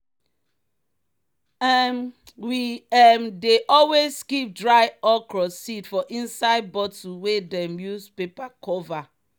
um we um dey always keep dry okra seed for inside bottle wey dem use paper cover.